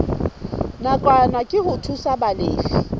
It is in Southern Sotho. nakwana ke ho thusa balefi